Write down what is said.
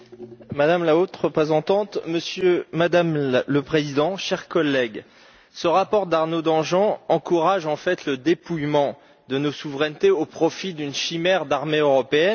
Madame la Présidente, Madame la Haute représentante, chers collègues, ce rapport d'Arnaud Danjean encourage, en fait, le dépouillement de nos souverainetés au profit d'une chimère d'armée européenne.